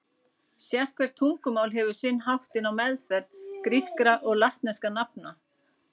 Sérhvert tungumál hefur sinn háttinn á meðferð grískra og latneskra nafna.